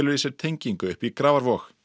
í sér tengingu upp í Grafarvog